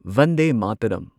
Vande Mataram